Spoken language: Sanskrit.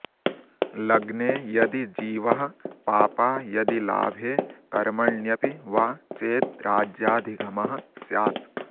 लग्ने यदि जीवः पापा यदि लाभे कर्मण्यपि वा चेद्राज्याधिगमः स्यात्